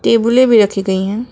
टेबुले भी रखी गई है।